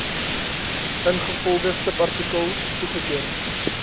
ingevolge subartikel toegeken